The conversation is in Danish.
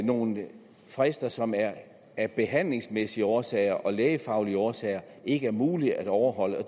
nogle frister som af behandlingsmæssige årsager og lægefaglige årsager ikke er mulige at overholde